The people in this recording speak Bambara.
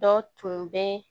Dɔ tun bɛ